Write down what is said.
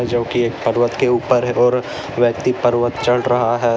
जो की एक पर्वत के ऊपर है और व्यक्ति पर्वत चढ़ रहा है।